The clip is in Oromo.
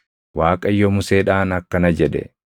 Waaqayyo Museedhaan akkana jedhe;